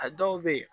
A dɔw be yen